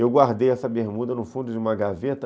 Eu guardei essa bermuda no fundo de uma gaveta.